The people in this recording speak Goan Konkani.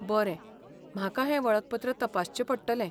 बरें, म्हाका हें वळखपत्र तपासचें पडटलें.